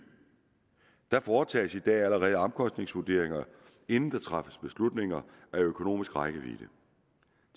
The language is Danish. der foretages i dag allerede omkostningsvurderinger inden der træffes beslutninger med økonomisk rækkevidde